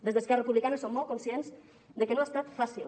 des d’esquerra republicana som molt conscients de que no ha estat fàcil